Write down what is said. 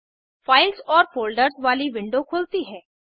files और folders वाली window खुलती है